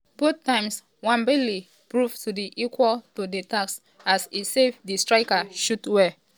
both times nwabali prove to dey equal to di task as e save di striker shots well.